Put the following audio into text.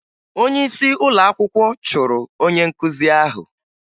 Onyeisi ụlọakwụkwọ chụrụ onye nkụzi ahụ